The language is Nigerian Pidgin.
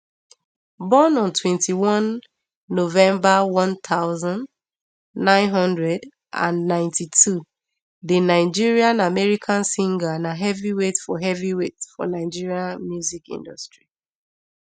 born on twenty-one november one thousand, nine hundred and ninety-two di nigerianamerican singer na heavyweight for heavyweight for nigerian music industry